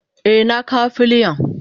Eh na kawo filiyan.